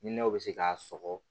Hinɛw bɛ se k'a sɔgɔ